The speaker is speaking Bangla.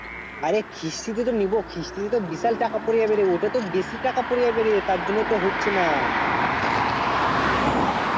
অরে কিস্তি তে নিবো কিস্তি তো বিশাল টাকা পরে যাবে রে অতটা তো বেশি টাকা পরে যাবে রে তার জন্য তো হচ্ছে না